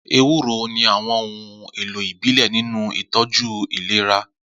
Ewuro ní àwọn ohun èlò ìbílẹ̀ nínú ìtọ́jú ìlera.